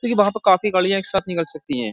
देखिये वहाँ प काफी गाड़ियाँ एक साथ निकल सकती हैं।